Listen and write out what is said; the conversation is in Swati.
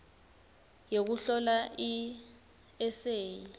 yekuhlola i eseyi